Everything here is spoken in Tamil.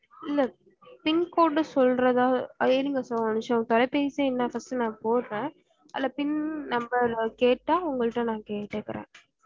இல்ல pincode சொல்றத இருங்க sir ஒரு நிமிஷம் தொலைபேசி எண்ண first நான் போட்றன் அதுல pin number கேட்டா உங்கள்ட நான் கேடுக்குறன்